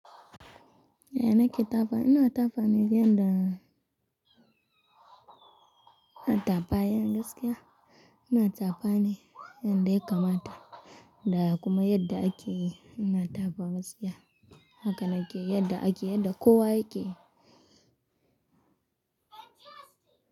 Ya nake tafa, ina tafani yanda na tafa bayan gaskiya. Ina tafani yanda yakamata. Da kuma yadda ake ina tafawa gaskiya. Haka na ke yadda ake yadda kowa yake.